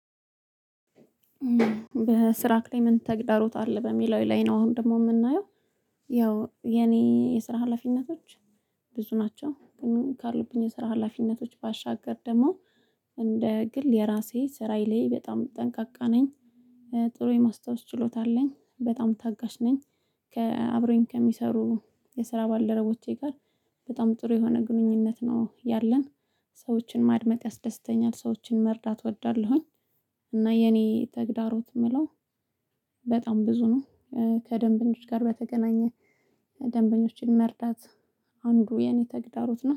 በስራ ክሌመንት ተግዳሮት አለ በሚለው ላይ ነው አሁን ደግሞ የምናየው ያው የኔ የስራ ሀላፊነቶች ብዙ ናቸው ግን ካሉብኝ የስራ ሀላፊነቶች ባሻገር ደግሞ እንደ ግል የራሴ ስራዬ ላይ በጣም ጠንቃቃ ነኝ። ጥሩ የማስታወስ ችሎታ አለኝ በጣም ታጋሽ ነኝ። ከአብሮኝ ከሚሰሩ የስራ ባልደረቦቼ ጋር በጣም ጥሩ የሆነ ግንኙነት ነው ያለን። ሰዎችን ማድመጥ ያስደስተኛል ሰዎችን መርዳት እወዳለሁኝ። እና የኔ ተግዳሮት የምለው በጣም ብዙ ነው። ከደንበኞች ጋር በተገናኘ ደንበኞችን መርዳት አንዱ የኔ ተግዳሮት ነው